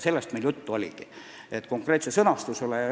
Sellest meil juttu oligi, konkreetset sõnastust me ei arutanud.